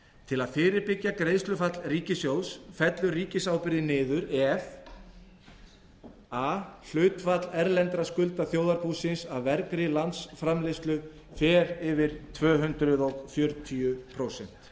til að fyrirbyggja greiðslufall ríkissjóðs fellur ríkisábyrgðin niður ef a hlutfall erlendra skulda þjóðarbúsins af vergri landsframleiðslu fer yfir tvö hundruð fjörutíu prósent